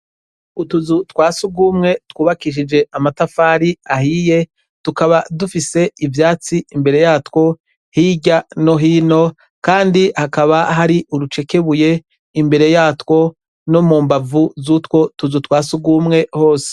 Utuzu twa surwumwe twubakishijwe amafatari ahiye tukaba dufise ivyatsi mbere yatwo hirya no hino kandi hakaba hari urucekebuye imbere yatwo no mu mbavu z'utwo tuzu twa surwumwe hose.